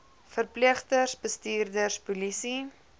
verpleegsters bestuurders polisie